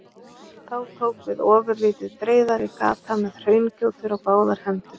Þá tók við ofurlítið breiðari gata með hraungjótur á báðar hendur.